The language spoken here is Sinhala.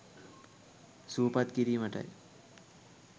සුවපත් කිරීමටයි.